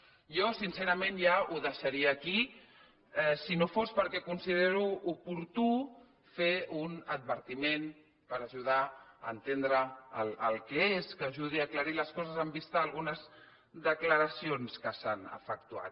jo sincerament ja ho deixaria aquí si no fos perquè considero oportú fer un advertiment per ajudar a entendre el que és que ajudi a aclarir les coses en vista a algunes declaracions que s’han efectuat